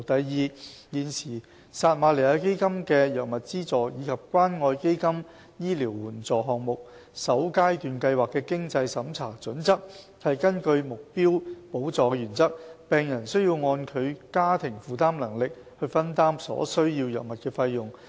二現時撒瑪利亞基金的藥物資助及關愛基金醫療援助項目的經濟審查準則，是根據目標補助的原則，病人需要按其家庭負擔能力去分擔所需藥物的費用。